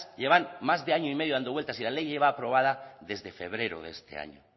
llevan más de año y medio dando vueltas y la ley lleva aprobada desde febrero de este año